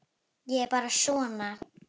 Ég er bara svona.